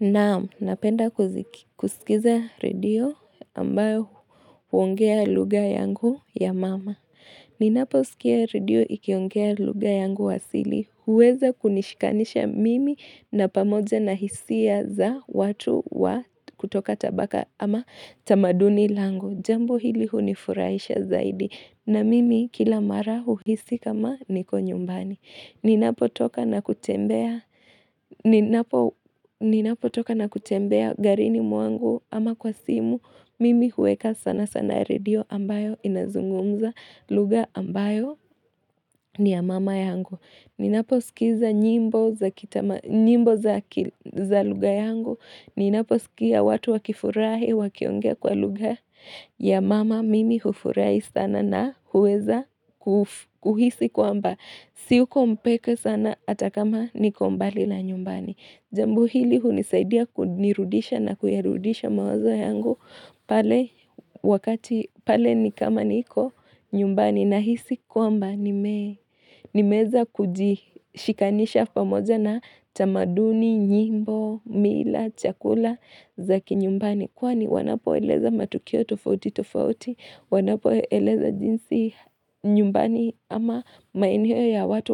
Naam napenda kusikiza radio ambayo huongea luga yangu ya mama. Ninapo usikia radio ikiongea luga yangu wasili. Huweza kunishikanisha mimi na pamoja na hisia za watu wa kutoka tabaka ama tamaduni langu. Jambo hili hunifuraisha zaidi. Na mimi kila marahu hisi kama niko nyumbani. Ninapo toka na kutembea. Ninapo toka na kutembea garini muangu ama kwa simu Mimi huweka sana sana radio ambayo inazungumza luga ambayo ni ya mama yangu Ninapo sikiza nyimbo za luga yangu Ninapo sikia watu wakifurahi wakiongea kwa luga ya mama Mimi hufurahi sana na huweza kuhisi kwa mba Siuko mpeke sana atakama niko mbali la nyumbani. Jambo hili hunisaidia kunirudisha na kuyarudisha mawazo yangu pale wakati pale nikama niko nyumbani na hisi kwamba nimeza kuji shikanisha pamoja na tamaduni, nyimbo, mila, chakula, zaki nyumbani. Kwani wanapo eleza matukio tofauti tofauti, wanapo eleza jinsi nyumbani ama mainio ya watu